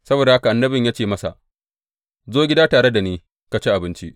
Saboda haka annabin ya ce masa, Zo gida tare da ni ka ci abinci.